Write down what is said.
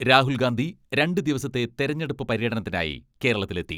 രാഹുൽ ഗാന്ധി രണ്ട് ദിവസത്തെ തെരഞ്ഞെടുപ്പ് പര്യടനത്തിനായി കേരളത്തിൽ എത്തി.